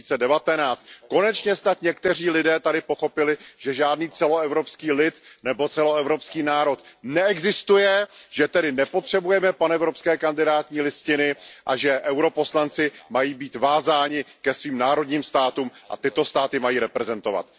2019. Konečně snad někteří lidé tady pochopili, že žádný celoevropský lid nebo celoevropský národ neexistuje, že tedy nepotřebujeme panevropské kandidátní listiny a že europoslanci mají být vázáni ke svým národním státům a tyto státy mají reprezentovat.